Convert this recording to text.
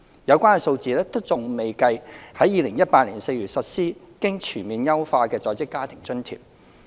有關數字尚未計及在2018年4月實施經全面優化的在職家庭津貼。